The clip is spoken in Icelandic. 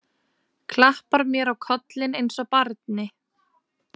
Klappar mér á kollinn eins og barni.